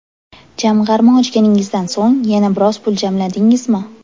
Jamg‘arma ochganingizdan so‘ng yana biroz pul jamladingizmi?